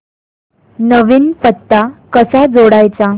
नवीन पत्ता कसा जोडायचा